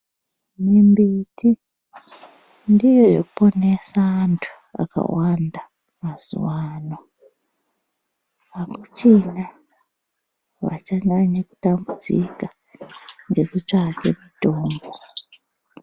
Mimbiti ndiyo yoponese vantu akawanda mazuano akuchina vachanyaye kutambudzika ngekutsvake mutombo .